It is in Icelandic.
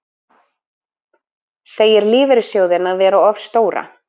Segir lífeyrissjóðina vera of stóra